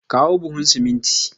Kawo buhu siminti.